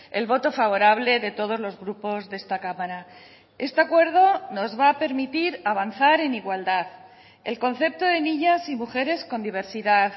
el voto favorable de todos los grupos de esta cámara este acuerdo nos va a permitir avanzar en igualdad el concepto de niñas y mujeres con diversidad